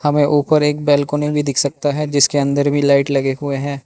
हमें ऊपर एक बैलकोनी भी दिख सकता है जिसके अंदर भी लाइट लगे हुए है।